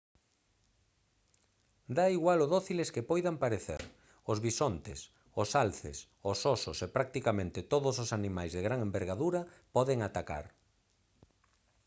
dá igual o dóciles que poidan parecer os bisontes os alces os osos e practicamente todos os animais de gran envergadura poden atacar